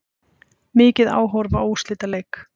Mikið áhorf á úrslitaleik